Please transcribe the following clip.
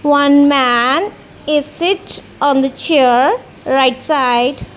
one man is sit on the chair right side.